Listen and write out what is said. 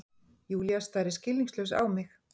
Júlía starir skilningslaus á mig.